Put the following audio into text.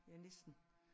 Ja næsten